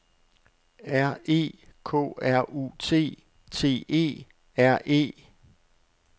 R E K R U T T E R E